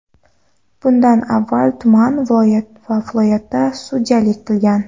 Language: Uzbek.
Bundan avval tuman va viloyatda sudyalik qilgan.